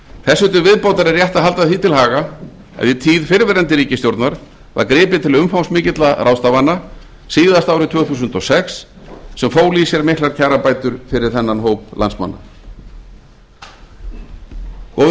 þessu til viðbótar er rétt að halda því til haga að í tíð fyrrverandi ríkisstjórnar var gripið til umfangsmikilla ráðstafana síðast árið tvö þúsund og sex sem fólu í sér miklar kjarabætur fyrir þennan hóp landsmanna góðir